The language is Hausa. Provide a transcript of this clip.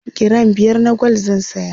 giram biyar na gwal zan saya